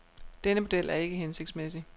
Denne model er ikke hensigtsmæssig.